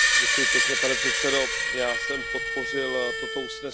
Pane předsedo, já jsem podpořil toto usnesení.